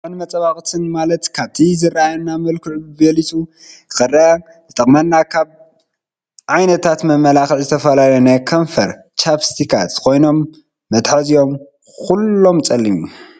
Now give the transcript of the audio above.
መመላክዕን መፃበበቅትን ማለት ካብቲ ዝነበረና መልክዕ ቢሊፁ ክረኣ ዝጠቅመና ካብ ዓይነታት መመላክዒ ዝተፈላለዩ ናይ ከንፈር ቻፒስቲካት ኮይኖም መትሓዚኦም ኩሎም ፀሊም እዩ።